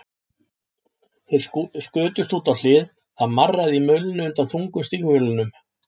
Þeir skutust út á hlið, það marraði í mölinni undan þungum stígvélunum.